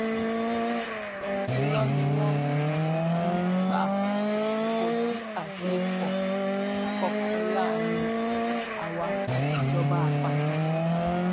irọ ni wọn um ń pa ọ kò sí àsọyépọ um kankan láàrin àwa àtijọba àpapọ